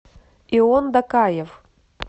ион дакаев